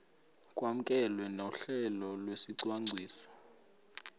kwamkelwe nohlelo lwesicwangciso